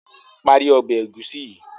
Parí Ọbẹ̀ egusi yi!